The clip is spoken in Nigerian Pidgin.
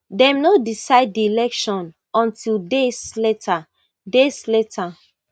dem no decide di election until days later days later